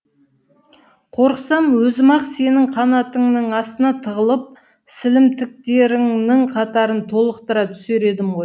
қорықсам өзім ақ сенің қанатыңның астына тығылып сілімтіктеріңнің қатарын толықтыра түсер едім ғой